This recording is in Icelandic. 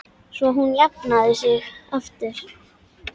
Svo hún jafni sig aftur.